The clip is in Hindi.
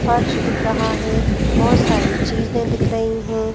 फर्श दिख रहा है बहुत सारी चीजें दिख रही हैं।